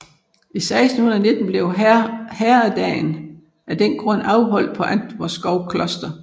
I 1619 blev herredagen af den grund afholdt på Antvorskov Kloster